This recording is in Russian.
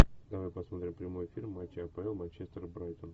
давай посмотрим прямой эфир матча апл манчестер брайтон